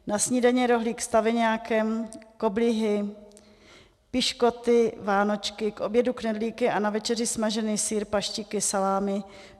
Na snídani rohlík s taveňákem, koblihy, piškoty, vánočky, k obědu knedlíky a na večeři smažený sýr, paštiky, salámy.